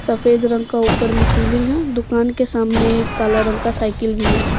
सफेद रंग का ऊपर में सीलिंग है दुकान के सामने काला रंग का साइकिल भी है।